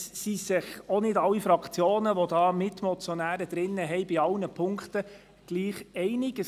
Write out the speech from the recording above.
Nicht alle Fraktionen der Mitmotionäre sind in sämtlichen Punkten einig.